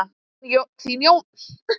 Þín Jóna Linda.